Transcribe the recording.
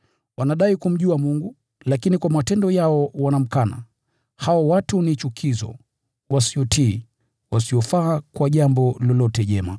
Wanadai kumjua Mungu, lakini kwa matendo yao wanamkana. Hao watu ni chukizo, wasiotii, wasiofaa kwa jambo lolote jema.